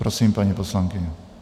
Prosím, paní poslankyně.